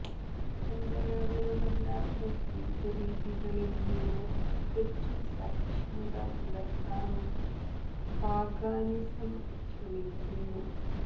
പരമ്പരാഗതമല്ലാത്ത ജീവിതരീതികളിൽ നിന്ന് തികച്ചും സഹിഷ്ണുത പുലർത്താനും പാഗാനിസം ശ്രമിക്കുന്നു